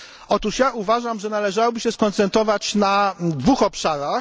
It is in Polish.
Otóż ja uważam, że należałoby się skoncentrować na dwóch obszarach.